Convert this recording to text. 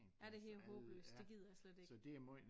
Ja det er helt håbløst det gider jeg slet ikke